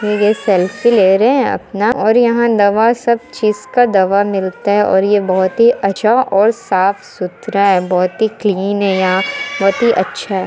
ये सेल्फ़ी ले रहे अपना और यहाँ दवा सब चीज का दवा मिलता है और ये बहोत ही अच्छा और साफ सुथरा है बहोत ही क्लीन है यहाँ बहुत ही अच्छा है।